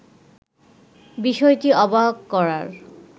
বিষয়টি অবাক করার